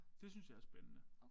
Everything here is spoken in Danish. Det synes jeg er spændende